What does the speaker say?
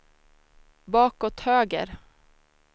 bakåt höger